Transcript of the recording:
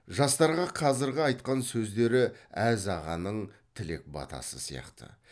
жастарға қазіргі айтқан сөздері әз ағаның тілек батасы сияқты